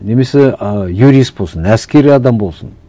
немесе ы юрист болсын әскери адам болсын